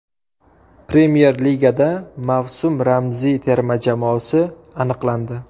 Premyer Ligada mavsum ramziy terma jamoasi aniqlandi.